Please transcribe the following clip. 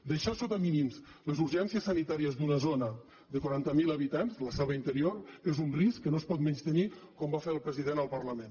deixar sota mínims les urgències sanitàries d’una zona de quaranta mil habitants la selva interior és un risc que no es pot menystenir com va fer el president al parlament